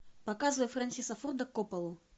показывай фрэнсиса форда копполу